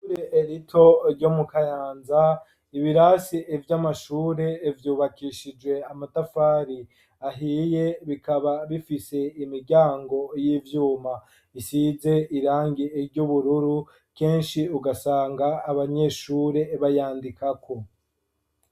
Ishure rito ryo mu kayanza, ibirasi vy'amashure vyubakishijwe amatafari ahiye bikaba bifise imiryango y'ivyuma isize irangi ry'ubururu ,kenshi ugasanga abanyeshure bayandikako.